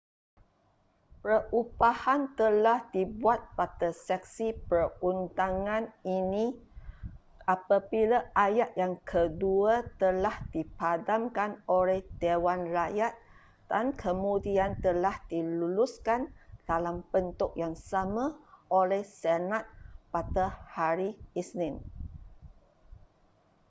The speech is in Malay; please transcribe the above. perubahan telah dibuat pada sesi perundangan ini apabila ayat yang kedua telah dipadamkan oleh dewan rakyat dan kemudian telah diluluskan dalam bentuk yang sama oleh senat pada hari isnin